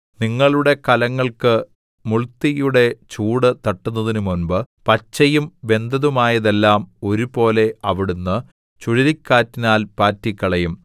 നിങ്ങളുടെ കലങ്ങൾക്ക് മുൾതീയുടെ ചൂട് തട്ടുന്നതിനു മുമ്പ് പച്ചയും വെന്തതുമായതെല്ലാം ഒരുപോലെ അവിടുന്ന് ചുഴലിക്കാറ്റിനാൽ പാറ്റിക്കളയും